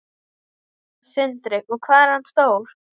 Sindri: Og hvað er hann stór?